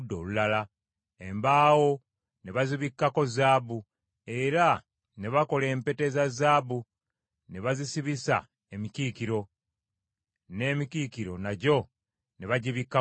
Embaawo ne bazibikkako zaabu, era ne bakola empeta eza zaabu ne bazisibisa emikiikiro; n’emikiikiro nagyo ne bagibikkako zaabu.